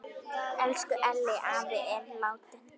Elsku Elli afi er látin.